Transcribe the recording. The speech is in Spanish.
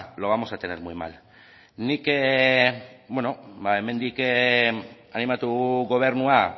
lo vamos a tener muy mal nik beno hemendik animatu gobernua